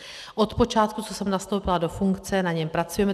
Od počátku, co jsem nastoupila do funkce, na něm pracujeme.